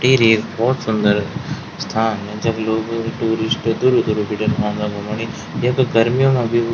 टिहरी एक बहौत सुन्दर स्थान जख लोग टूरिस्ट दूर-दूर बिटिन औंदा घुमणि यख गरमीयो मा भी --